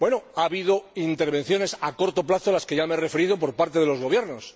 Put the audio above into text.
Ha habido intervenciones a corto plazo, a las que ya me he referido, por parte de los gobiernos.